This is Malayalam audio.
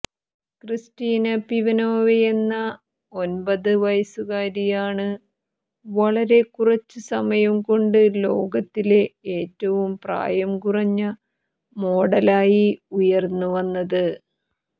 ക്രിസ്റ്റീന പിമെനോവയെന്ന ഒൻപത് വയസുകാരിയാണ് വളരെ കുറച്ച് സമയം കൊണ്ട് ലോകത്തിലെ ഏറ്റവും പ്രായം കുറഞ്ഞ മോഡലായി ഉയര്ന്ന് വന്നത്